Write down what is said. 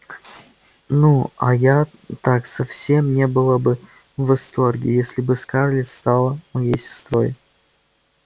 ну а я так совсем не была бы в восторге если бы скарлетт стала моей сестрой